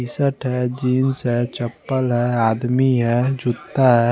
T shirt हैं jeans हैं चप्पल हैं आदमी हैं जूता ह--